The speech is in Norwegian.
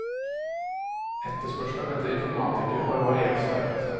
Etterspørselen etter informatikere har variert sterkt.